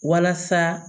Walasa